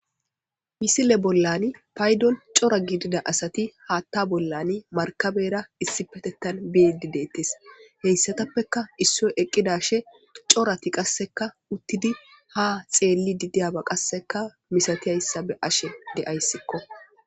misile bollan paydon cora gidida asati haatta bollani markabera issi petettan beidi deettes heyssatappeka issoy eqqidashe corati qasseka uttidi ha xeelli didiyaba qasseka misatiyayssa be ashe de7ayssikko